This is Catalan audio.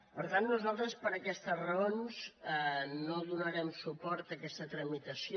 per tant nosaltres per aquestes raons no donarem suport a aquesta tramitació